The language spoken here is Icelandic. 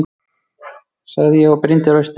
sagði ég og brýndi raustina.